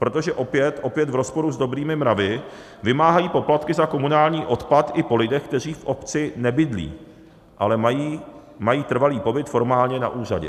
Protože opět v rozporu s dobrými mravy vymáhají poplatky za komunální odpad i po lidech, kteří v obci nebydlí, ale mají trvalý pobyt formálně na úřadě.